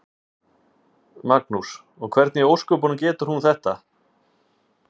Magnús: Og hvernig í ósköpunum getur hún þetta?